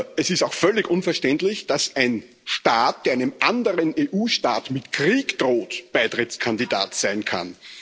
Es ist auch völlig unverständlich, dass ein Staat, der einem anderen EU-Staat mit Krieg droht, Beitrittskandidat sein kann.